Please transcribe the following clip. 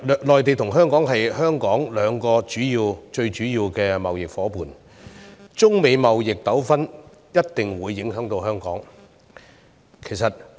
內地和美國是香港兩個最主要的貿易夥伴，因此中美貿易糾紛一定會影響到香港。